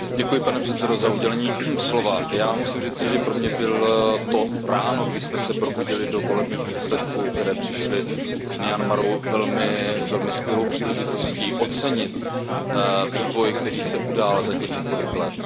Pane předsedající, já musím říci, že pro mě bylo to ráno, kdy jsme se probudili do volebních výsledků, které přišly z Myanmaru, velmi skvělou příležitostí ocenit vývoj, který se udál za těch několik let.